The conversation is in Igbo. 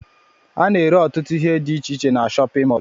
Ana ere ọtụtụ ihe dị iche iche n'shóppin mol.